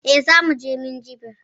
Eh, Zamu je Minjibir